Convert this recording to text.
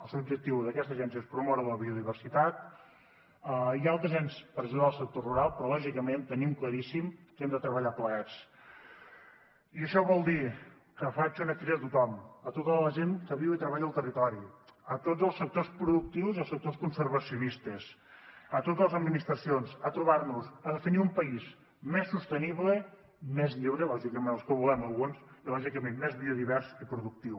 el seu objectiu d’aquesta agència és promoure la biodiversitat i altres ens per ajudar el sector rural però lògicament tenim claríssim que hem de treballar plegats i això vol dir que faig una crida a tothom a tota la gent que viu i treballa al territori a tots els sectors productius i als sectors conservacionistes a totes les administracions a trobar nos a definir un país més sostenible més lliure lògicament el que volem alguns i lògicament més biodivers i productiu